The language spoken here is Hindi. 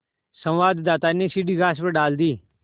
संवाददाता ने सीढ़ी घास पर डाल दी